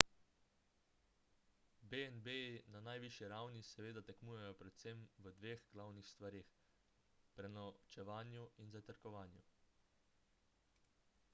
b&b-ji na najvišji ravni seveda tekmujejo predvsem v dveh glavnih stvareh: prenočevanju in zajtrkovanju